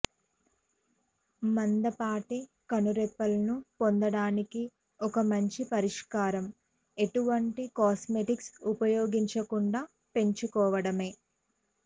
మందపాటి కనురెప్పలను పొందడానికి ఒక మంచి పరిష్కారం ఎటువంటి కాస్మోటిక్స్ ఉపయోగించకుండా పెంచుకోవడమే